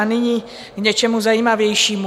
A nyní k něčemu zajímavějšímu.